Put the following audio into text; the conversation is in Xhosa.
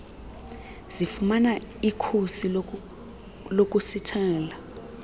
zifumana ikhusi lokusithela